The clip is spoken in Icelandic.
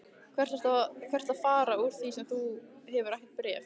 Hvert ertu að fara úr því þú hefur ekkert bréf?